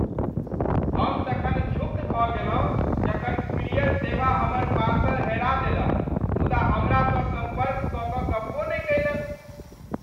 हम तखन क्षुब्ध भ गेलहुँ जखन कूरियर सेवा हमर पार्सल हेरा देलक मुदा हमरा सँ सम्पर्क कऽ कऽ गप्पो नहि कयलक ।